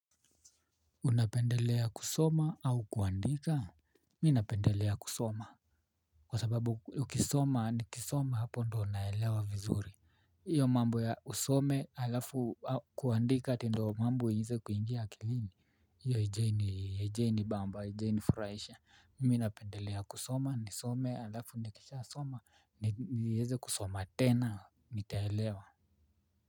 Unapendelea kusoma au kuandika. Mimi napendelea kusoma. Kwa sababu ukisoma nikisoma hapo ndio naelewa vizuri hiyo mambo ya usome alafu kuandika ati ndio mambo iweze kuingia akilini hiyo haijawahi nibamba haijawahi furahisha mimi napendelea kusoma nisome alafu nikisha soma niweze kusoma tena nitaelewa.